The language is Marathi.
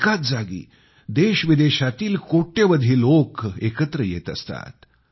एकाच जागी देशविदेशातील कोट्यवधी लोक एकत्र आले असतात